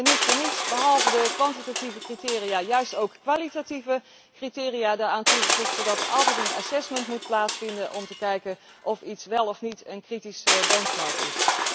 Wij hebben niet voor niets behalve de kwantitatieve criteria juist ook kwalitatieve criteria daaraan toegevoegd, zodat er altijd een evaluatie moet plaatsvinden om te kijken of iets al dan niet een kritische benchmark is.